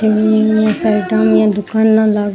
hospital में साईडा में एक दुकान लाग --